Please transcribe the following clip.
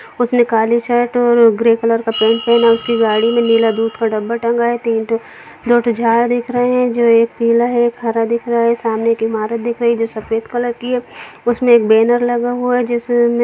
उसने काली शर्ट और ग्रे कलर का पैन्ट पहना है उसकी गाड़ी में नीला दूध का डब्बा टंगा है तीन ठो दो ठो झाड़ दिख रहे है जो एक पीला है हरा दिख रहा है सामने एक ईमारत दिख रही है जो सफेद कलर की है उसमें एक बैनर लगा हुआ है जिसमें --